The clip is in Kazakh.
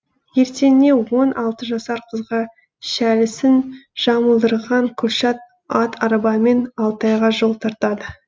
ертеңіне он алты жасар қызға шәлісін жамылдырған күлшат ат арбамен алтайға жол тартады